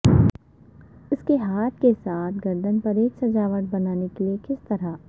اس کے ہاتھ کے ساتھ گردن پر ایک سجاوٹ بنانے کے لئے کس طرح